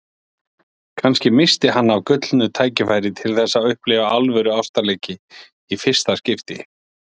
Kannski missti hann af gullnu tækifæri til þess að upplifa alvöru ástarleiki í fyrsta skipti.